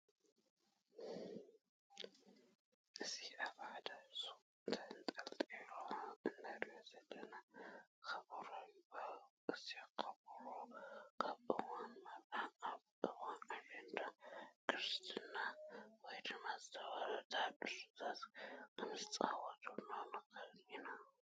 እዚ ኣብ ሓደ ሹቅ ተንጠልጢሉ እንሪኦ ዘለና ኮቦሮ ይባሃል። እዚ ኮቦሮ ኣብ እዋን መርዓ፣ ኣብ እዋን ኣሸንዳ፣ ክርስና ወይ ድማ ዝተፈላለዩ ታሃድሶታት ክንፃወተሉ ንክእል ኢና።